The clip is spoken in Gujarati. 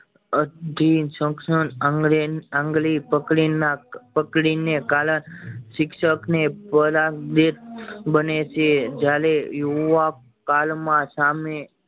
અધીન આંગળી પકડી ને પકડી ને કાળા શિક્ષક ને બને છે જયારે યુવા કાલ માં સામે